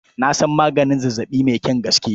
Na san maganin zazzaɓi mai kyan gaske.